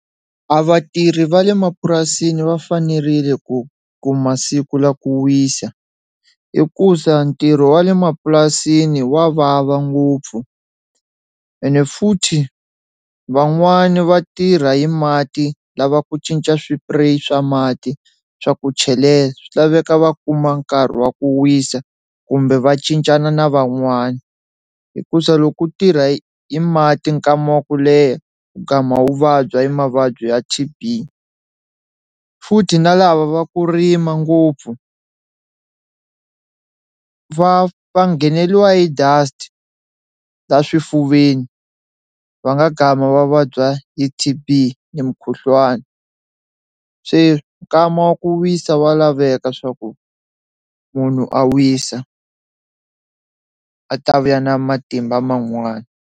A vatirhi va le mapurasini va fanerile ku kuma masiku la ku wisa hikusa ntirho wa le mapurasini wa vava ngopfu ene futhi van'wani va tirha hi mati, lava ku cinca swipureyi swa mati swa ku chelela swi laveka va kuma nkarhi wa ku wisa kumbe va cincana na van'wana hikusa loko u tirha hi i mati nkama wa ku leha u gama u vabya hi mavabyi ya T_B, futhi na lava va ku rima ngopfu va va ngheneliwa hi dust ta laha swifuveni va nga gama va vabya hi T_B ni mukhuhlwani, se nkama wa ku wisa wa laveka swa ku munhu a wisa a ta vuya na matimba man'wani.